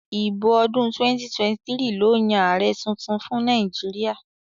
ìbò ọdún 2023 ló Yàn Ààrẹ títún fún Nàìjíríà